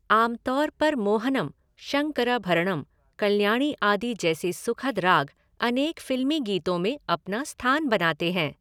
आम तौर पर मोहनम, शंकरभरणं, कल्याणी आदि जैसे सुखद राग अनेक फिल्मी गीतों में अपना स्थान बनाते हैं।